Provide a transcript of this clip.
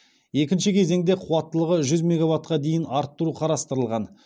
екінші кезеңде қуаттылығы жүз мегаваттқа дейін арттыру қарастырылған